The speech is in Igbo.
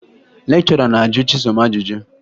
Lekchọra na-ajụ Chisom ajụjụ